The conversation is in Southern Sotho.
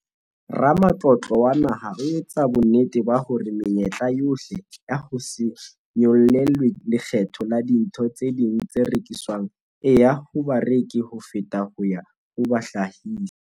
Ramatlotlo wa Naha ho etsa bonnete ba hore menyetla yohle ya ho se nyollelwe lekgetho la dintho tse ding tse rekiswang e ya ho bareki ho feta ho ya ho bahlahisi.